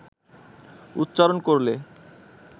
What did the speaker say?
উচ্চারণ করলে